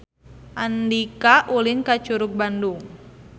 Andika ulin ka Curug Bandung